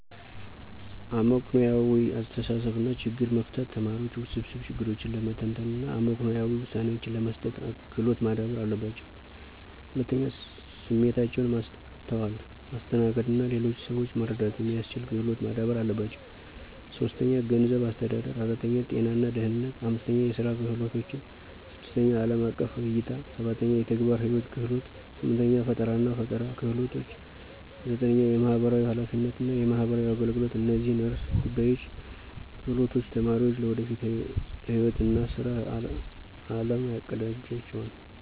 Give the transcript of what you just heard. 1. አመክንዮአዊ አስተሳሰብ እና ችግር መፍታት ተማሪዎች ውስብስብ ችግሮችን ለመተንተን እና አመክንዮአዊ ውሳኔዎችን ለመስጠት ክሎት ማዳበር አለባቸው። 2. ስሜታቸውን ማስተዋል፣ ማስተናገድ እና ሌሎችን ሰዎች መረዳት የሚስችል ክሎት ማዳበር አለባቸው። 3. ገንዘብ አስተዳደር 4. ጤና እና ደህነነት 5. የስራ ክህሎቶችን 6. አለም አቀፍ እይታ 7. የተግባር ህይዎት ክህሎቶች 8. ፈጠራናፈጠራ ክህሎች 9. የማህበራዊ ሐላፊነት እና የማህበራዊ አገልገሎት እነዚህን ዕርሰ ጉዳዮች እና ክህሎቶች ተማሪዎች ለወደፊት ህይዎት እና ስራ አለም ያቀዳጅላቸዋል።